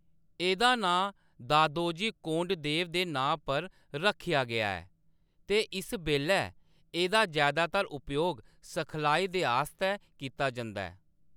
एह्‌‌‌दा नांऽ दादोजी कोंडदेव दे नांऽ पर रक्खेआ गेआ ऐ ते इस बेल्लै एह्‌‌‌दा जैदातर उपयोग सखलाई दे आस्तै कीता जंदा ऐ।